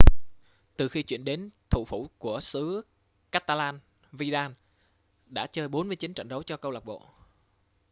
từ khi chuyển đến thủ phủ của xứ catalan vidal đã chơi 49 trận đấu cho câu lạc bộ